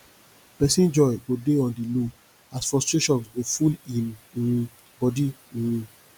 pesin joy go dey on di low as frustration go full im um bodi um